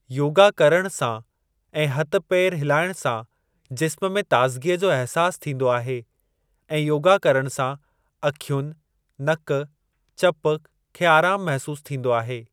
योगा करणु सां ऐं हथ पेर हिलाइणु सां जिस्म में ताज़गीअ जो अहिसास थींदो आहे ऐं योगा करण सां अखियुनि, नक, चप खे आराम महिसूस थींदो आहे।